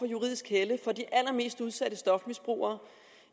juridisk helle for de allermest udsatte stofmisbrugere